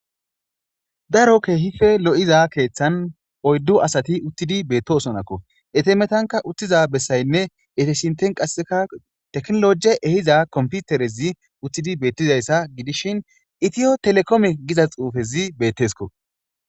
Daro kehipe lo'iza keeththan oyddu asati utidi betosonakko eta metankka utiza besayinne eta sinththankka technology ehiza computers utidi betizayissa gidishshin etiotelicomme giza xufezi betesikko